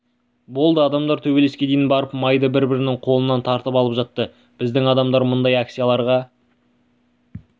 болды адамдар төбелеске дейін барып майлы бір-бірінің қолынан тартып алып жатты біздің адамдар мұндай акцияларға